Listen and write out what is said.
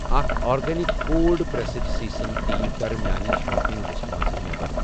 اکھَ organic cold pressed sesame تیٖل کَر میانہِ شاپنگ لسٹہٕ منٛز نٮ۪بر۔